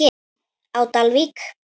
á Dalvík.